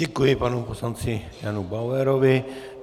Děkuji panu poslanci Janu Bauerovi.